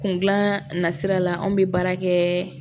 Kun gilan na sira la anw bɛ baara kɛ